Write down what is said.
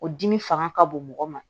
O dimi fanga ka bon mɔgɔ ma